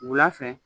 Wula fɛ